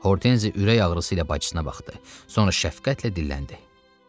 Hortenzi ürək ağrısıyla bacısına baxdı, sonra şəfqətlə dilləndi.